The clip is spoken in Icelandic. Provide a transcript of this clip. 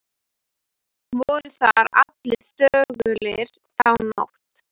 Voru þar allir þögulir þá nótt.